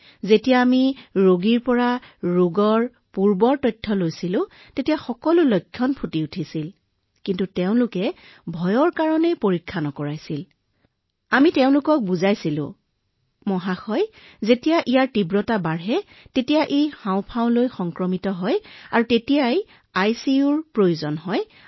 সেই সকলোবোৰ লক্ষণ তেওঁলোকৰ দেখা দিছিল যেতিয়া আমি সেইবোৰ ইতিহাস তৈয়াৰ কৰিছিলো কিন্তু ভয়ৰ বাবে তেওঁলোকে পৰীক্ষা কৰোৱাব পৰা নাছিল সেয়েহে আমি তেওঁলোকক বুজাই দিছিলো আৰু মহোদয় যেতিয়া তীব্ৰতা বাঢ়ি আহিছিল হাঁওফাঁও সংক্ৰমিত হোৱাত আইচিইউৰ প্ৰয়োজন হৈছিল